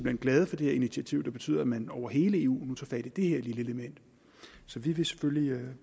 hen glade for det her initiativ der betyder at man over hele eu nu tager fat i det her lille element så vi vil selvfølgelig